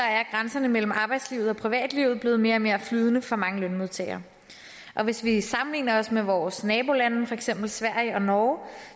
grænserne mellem arbejdslivet og privatlivet blevet mere og mere flydende for mange lønmodtagere hvis vi sammenligner os med vores nabolande for eksempel med sverige og norge